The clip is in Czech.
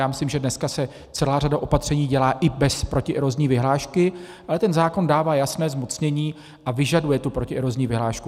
Já myslím, že dneska se celá řada opatření dělá i bez protierozní vyhlášky, ale ten zákon dává jasné zmocnění a vyžaduje tu protierozní vyhlášku.